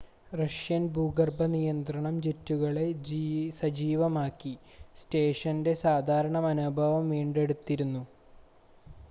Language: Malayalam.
റഷ്യൻ ഭൂഗർഭ നിയന്ത്രണം ജെറ്റുകളെ സജീവമാക്കി സ്റ്റേഷൻ്റെ സാധാരണ മനോഭാവം വീണ്ടെടുത്തിരുന്നു